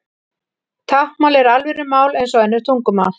Táknmál er alvöru mál eins og önnur tungumál.